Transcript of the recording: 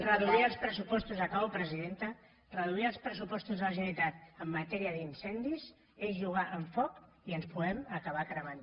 reduir els pressupostos acabo presidenta reduir els pressupostos de la generalitat en matèria d’incendis és jugar amb foc i ens podem acabar cremant